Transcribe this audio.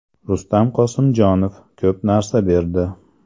Rustam Qosimjonov: Ko‘p narsa berdi.